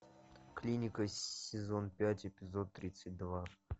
клиника сезон пять эпизод тридцать два